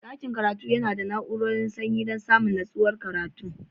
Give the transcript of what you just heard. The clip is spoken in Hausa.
Dakin karatu yana da na'urar sanyi dan samun nutsuwar karatu.